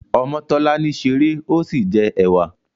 Omotolani ṣeré ọ sí jẹ ẹwà.